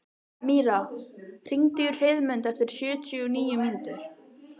Míra, hringdu í Heiðmund eftir sjötíu og níu mínútur.